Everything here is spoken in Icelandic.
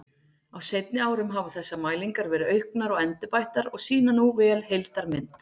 Á seinni árum hafa þessar mælingar verið auknar og endurbættar og sýna nú vel heildarmynd.